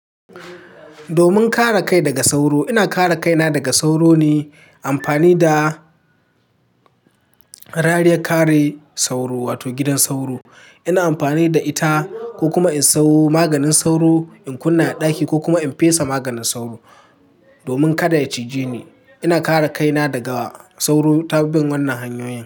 Domin kare kai daga sauro, ina kare kaina daga sauro ne amfani da rariyar kare sauro wato gidan sauro. Ina amfani da ita ko kuma in sayo maganin sauro in kunna a ɗaki ko kuma in fesa maganin sauro domin kada ya cije ni. Ina kare kaina daga sauro ta bin wannan hanyoyin.